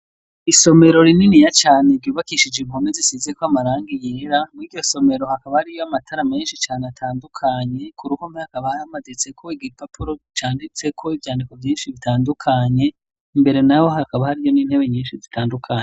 Isomero rininiya cane ryubakishije impome zisize ko amaranga yera muri iryo somero hakaba hariyo amatara menshi cane atandukanye ku ruhome hakaba hamaditse ko igipapuro canditse ko ibyandiko vyinshi bitandukanye, imbere naho hakaba hariyo n'intebe nyinshi zitandukanye.